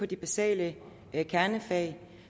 de basale kernefag